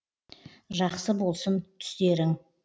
жақсы болсын түстерің